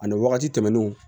Ani wagati tɛmɛnnenw